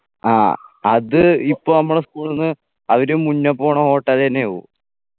ആ അത് ഇപ്പൊ നമ്മളെ school ന്ന് അവര് മുന്ന പോണ hotel ന്നെ പോവു